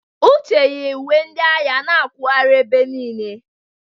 Uche yi uwe ndị agha na akwụghari ebe niile.